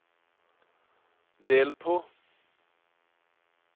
del på